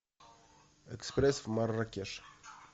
экспресс в марракеш